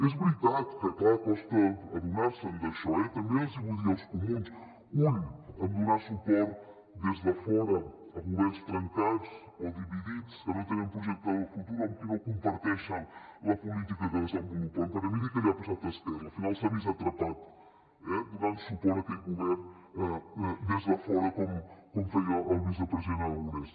és veritat que clar costa adonar se d’això eh també els ho vull dir als comuns ull a donar suport des de fora a governs trencats o dividits que no tenen projecte de futur o amb qui no comparteixen la política que desenvolupen perquè miri què li ha passat a esquerra al final s’ha vist atrapat donant suport a aquell govern des de fora com feia el vicepresident aragonès